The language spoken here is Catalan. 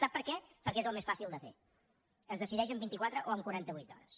sap per què perquè és el més fàcil de fer es decideix en vintiquatre o en quarantavuit hores